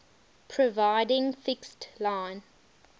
providing fixed line